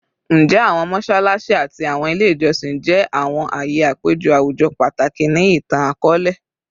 Njẹ awọn mọṣalaṣi ati awọn ile ijọsin jẹ awọn aaye apejọ awujọ pataki ni itan-akọọlẹ?